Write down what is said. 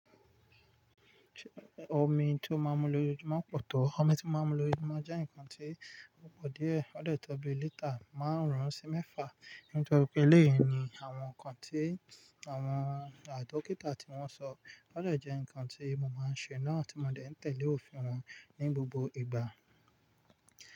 Omi tí mo máa ń mu lójoojúmọ́ á pọ̀ tó. Omi tí mó máa ń mu lójoojúmó jẹ́ nǹkan tí ó pọ̀ díẹ̀. Ó dè tó bi lítà márùún sí mẹ́fà. Nítorí pé eléyìí ni àwọn nǹkan tí àwọn ah dọ́kítà tí wọ́n sọ. Ó dè jẹ́ nǹkan tí mo máa ń ṣe náà tí mo dẹ̀ ń tẹ̀lé òfin wọn ní gbogbo ìgbà.